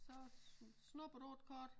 Så snupper du et kort?